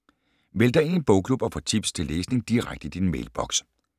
Meld dig ind i en bogklub og få tips til læsning direkte i din mailboks